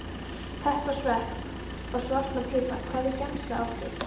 Pepp og svepp og svartan pipar Hvernig gemsa áttu?